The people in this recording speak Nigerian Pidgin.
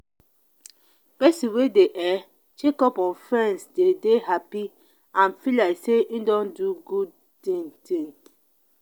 persin wey de um check up on friends de dey happy and feel like say e don do good thing thing